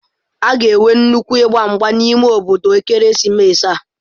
A ga-enwe nnukwu ịgba mgba n'ime obodo ekeresimesi a.